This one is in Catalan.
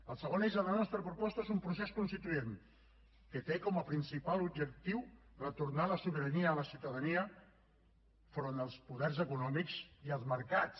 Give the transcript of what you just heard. el segon eix de la nostra proposta és un procés constituent que té com a principal objectiu retornar la sobirania a la ciutadania enfront dels poders econòmics i els mercats